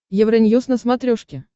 евроньюз на смотрешке